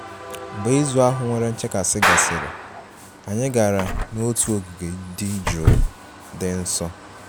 mgbe izu ahụ nwere nchekasị gasịrị, anyị gara n'otu ogige dị jụụ, dị nso